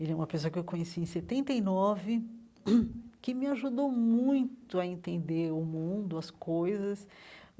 Ele é uma pessoa que eu conheci em setenta e nove, que me ajudou muito a entender o mundo, as coisas.